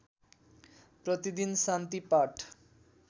प्रतिदिन शान्ति पाठ